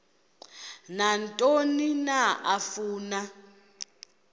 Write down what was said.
nantoni na afuna